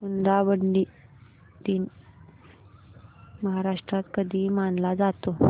हुंडाबंदी दिन महाराष्ट्रात कधी मानला जातो